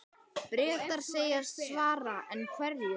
Bretar segjast svara, en hverju?